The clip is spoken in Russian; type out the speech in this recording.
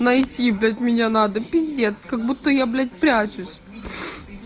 найти блять меня надо пиздец как будто я блять прячусь